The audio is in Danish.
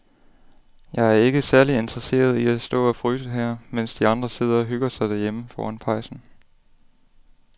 Jeg er ikke særlig interesseret i at stå og fryse her, mens de andre sidder og hygger sig derhjemme foran pejsen.